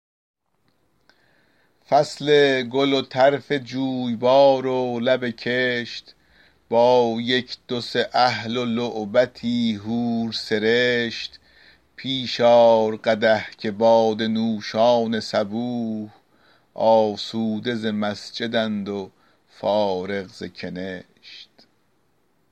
فصل گل و طرف جویبار و لب کشت با یک دو سه اهل و لعبتی حور سرشت پیش آر قدح که باده نوشان صبوح آسوده ز مسجد ند و فارغ ز کنشت